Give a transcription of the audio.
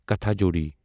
کاٹھاجوڑی